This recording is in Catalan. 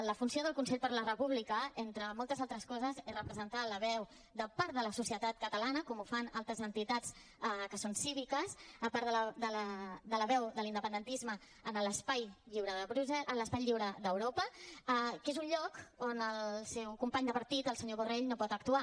la funció del consell per la república entre moltes altres coses és representar la veu de part de la societat catalana com ho fan altres entitats que són cíviques a part de la veu de l’independentisme en l’espai lliure d’europa que és un lloc on el seu company de partit el senyor borrell no pot actuar